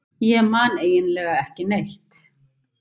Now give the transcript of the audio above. Ég man eiginlega ekki neitt.